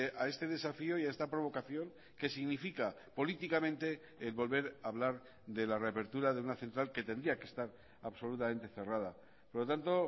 a este desafío y a esta provocación que significa políticamente volver a hablar de la reapertura de una central que tendría que estar absolutamente cerrada por lo tanto